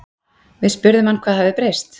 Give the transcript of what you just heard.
Við spurðum hann hvað hafi breyst?